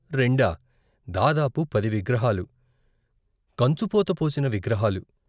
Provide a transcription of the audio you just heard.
రెండా దాదాపు పది విగ్రహాలు కంచుపోత పోసిన విగ్రహాలు.